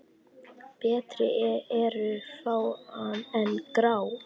Betri eru fá en grá?